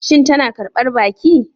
Shin tana karbar baki?